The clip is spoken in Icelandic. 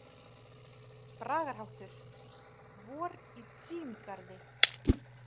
----------------------- Bragarháttur: „Vor í Tsín- garði“.